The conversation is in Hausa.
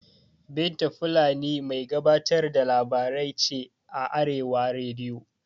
Binta fulani mai gabatar da labarai ce a arewa rediyo